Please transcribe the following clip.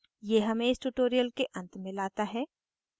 ये हमें इस tutorial के अंत में लाता है